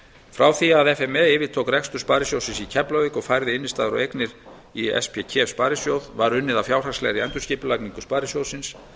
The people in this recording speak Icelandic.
frá því að f m e yfirtók rekstur sparisjóðs keflavíkur og færði innstæður og eignir í spkef sparisjóð var unnið að fjárhagslegri endurskipulagningu sparisjóðsins